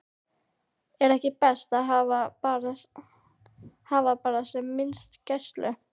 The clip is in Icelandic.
Er ekki best að hafa bara sem minnsta gæslu?